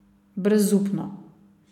Brezupno.